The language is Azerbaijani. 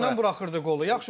Öz küncündən buraxırdı qolu.